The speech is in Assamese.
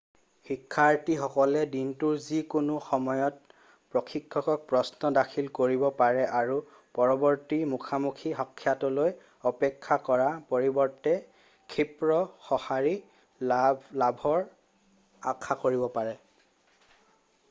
শিক্ষাৰ্থীসকলে দিনটোৰ যিকোনো সময়তে প্ৰশিক্ষকক প্ৰশ্ন দাখিল কৰিব পাৰে আৰু পৰৱৰ্তী মুখামুখি সাক্ষাতলৈ অপেক্ষা কৰাৰ পৰিৱৰ্তে ক্ষিপ্ৰ সঁহাৰি লাভৰ আশা কৰিব পাৰে